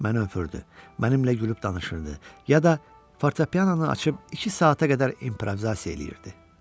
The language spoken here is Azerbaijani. Mənə öfürdü, mənimlə gülüb danışırdı, yada fortopiananı açıb iki saata qədər improvizasiya eləyirdi.